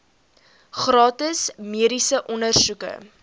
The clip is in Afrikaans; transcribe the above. gratis mediese ondersoeke